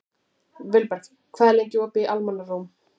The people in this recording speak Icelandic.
Vilberg, hvað er lengi opið í Almannaróm?